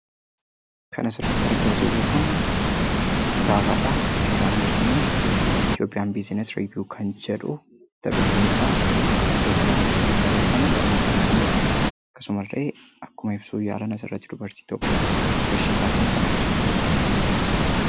Kan asirratti argaa jirru kun kitaabadha. Kitaabni kunis "ETHIOPIAN BUSINESS REVIEW" kan jedhu mata dureen isaa. Iddoo kanarratti kan nuti arginu barnootaaf kan oolu asuma ta'ee, akkuma ibsuuf yaalan dubartii tokko suurashee kaasanii kan agarsiisaa jiranidha.